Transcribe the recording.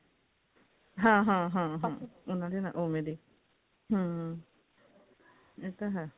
ਹਾਂ ਹਾਂ ਹਾਂ ਇਹਨਾਂ ਦੇ ਓਵੇਂ ਦੇ ਹਮ ਇਹ ਤਾਂ ਹੈ